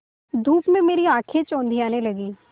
धूप में मेरी आँखें चौंधियाने लगीं